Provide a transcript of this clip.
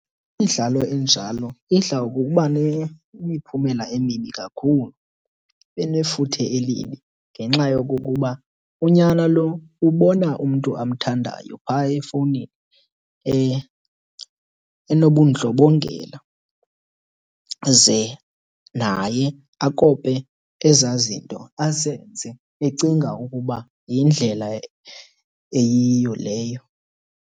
Imidlalo enjalo idla ngokuba nemiphumela emibi kakhulu. Inefuthe elibi ngenxa yokokuba unyana lo ubona umntu amthandayo phaa efowunini inobundlobongela ze naye akope ezaa zinto azenze ecinga ukuba yindlela eyiyo leyo.